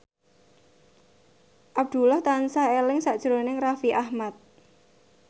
Abdullah tansah eling sakjroning Raffi Ahmad